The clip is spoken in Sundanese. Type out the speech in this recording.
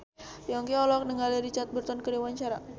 Yongki olohok ningali Richard Burton keur diwawancara